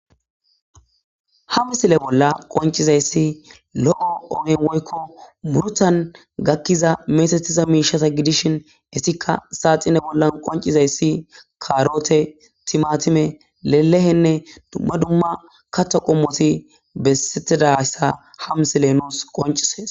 hamisile bolla qoncizayssi lo7o onen woykko murtan gakkiza meesethiza miishasa gidishin issikka saaxine bolla qoncizayssi kaarote timatime lelehenne dumma dumma katta qommoti bessetidayssa hamsile nous qoncisees